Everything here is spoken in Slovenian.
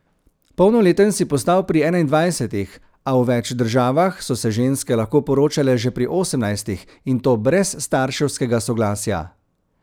Polnoleten si postal pri enaindvajsetih, a v več državah so se ženske lahko poročale že pri osemnajstih, in to brez starševskega soglasja.